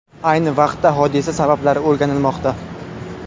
Ayni vaqtda hodisa sabablari o‘rganilmoqda.